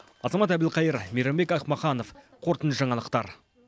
азамат әбілқайыр мейрамбек ахмаханов қорытынды жаңалықтар